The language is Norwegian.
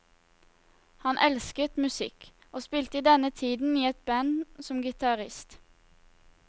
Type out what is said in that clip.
Han elsket musikk, og spilte i denne tiden i et band som gitarist.